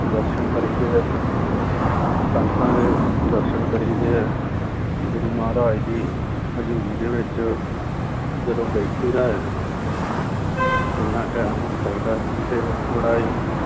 ਦਰਸਨ ਕਰੀਦੇ ਹੈ ਸੰਗਤਾਂ ਦੇ ਦਰਸਨ ਕਰੀਦੇ ਹੈ ਗੁਰੂ ਮਹਾਰਾਜ ਦੀ ਹਜ਼ੂਰੀ ਦੇ ਵਿੱਚ ਜਦੋਂ ਬੈਠੀਦਾ ਹੈ ਜਿੰਨਾ time ਹੋ ਸਕਦਾ ਹੈ ਤੇ ਬੜਾ ਹੀ